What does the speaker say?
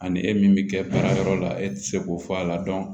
Ani e min bɛ kɛ baara yɔrɔ la e ti se k'o fɔ a la